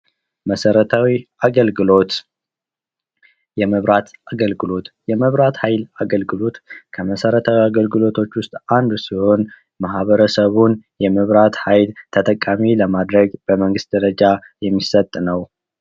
መሠረታዊ አገልግሎት፦ የመብራት አገልግሎት ፦የመብራት ሀይል አገልግሎት ከመሠረታዊ አገልግሎቶች ውስጥ አንዱ ሲሆን ማህበረሰቡን የመብራት ሀይል ተጠቃሚ ለማድረግ በመንግሥት ደረጃ የሚሰጥ ነው።